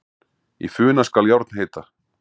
Í funa skal járn heita.